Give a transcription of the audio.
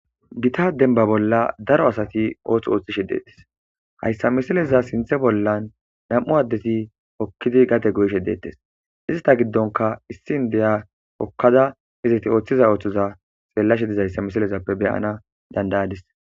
Gita denba bolla daro asati oothth ooththishe deetes hayssa misileza sinthe bollan nam7u addeti okkidi gate go7ishe deettes izita giddonka issin deya pokkada iziti ooththiza ooththoza seellashe dizayssa misilezappe beyana dandayadis